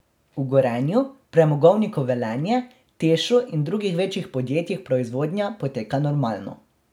V Gorenju, Premogovniku Velenje, Tešu in drugih večjih podjetij proizvodnja poteka normalno.